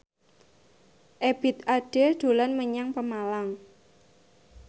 Ebith Ade dolan menyang Pemalang